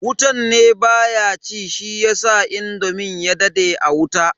Wutan ne baya ci shiyasa indomin ya dade a wuta.